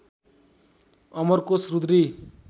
Amarkosh Rudri